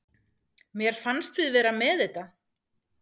Mér fannst við vera með þetta.